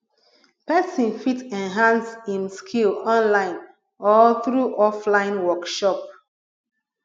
persin fit enhance im skill online or through offline workshop